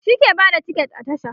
shi ke Bada tiket a tasha